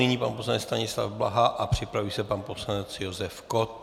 Nyní pan poslanec Stanislav Blaha a připraví se pan poslanec Josef Kott.